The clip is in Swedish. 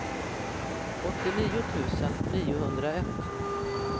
åttionio tusen niohundraett